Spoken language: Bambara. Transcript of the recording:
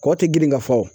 Kɔ tɛ girin ka fɔ